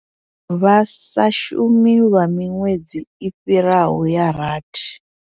Vha sa shumi lwa miṅwedzi i fhiraho ya rathi.